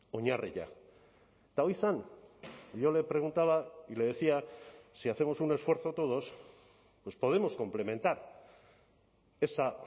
oinarria eta hori zen yo le preguntaba y le decía si hacemos un esfuerzo todos pues podemos complementar esa